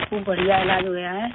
خوب بڑھیا علاج ہوا ہے